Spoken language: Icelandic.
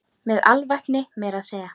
Með alvæpni meira að segja!